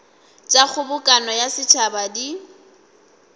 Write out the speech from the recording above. tša kgobokano ya setšhaba di